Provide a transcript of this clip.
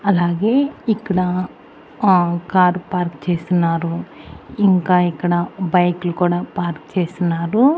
అలాగే ఇక్కడ ఆ కార్ పార్క్ చేస్తున్నారు ఇంకా ఇక్కడ బైకులు కూడా పార్క్ చేసున్నారు.